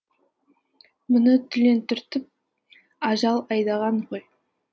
мұны түлен түртіп ажал айдаған ғой